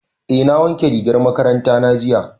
Eh na wanke rigar makaranta na jiya.